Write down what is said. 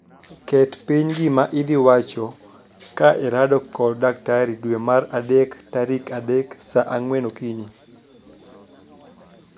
Ket piny gima idhi wacho ka irado kod daktari dwe mar adek tarik adek saa ang'wen okinyi.